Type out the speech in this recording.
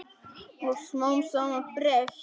Og smám saman breyt